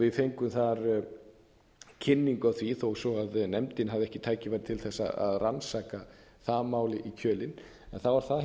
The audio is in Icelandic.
við fengum þar kynningu á því þó svo nefndin hafi ekki tækifæri til þess að rannsaka það mál í kjölinn en þá var það